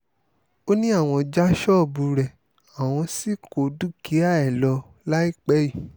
ó ní àwọn já ṣọ́ọ̀bù rẹ̀ àwọn sì kó dúkìá ẹ̀ lọ láìpẹ́ yìí